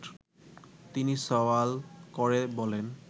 তিনি সওয়াল করে বলেন